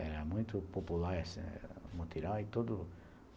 Era muito popular essa esse mutirão e tudo